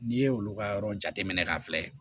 N'i ye olu ka yɔrɔ jateminɛ k'a filɛ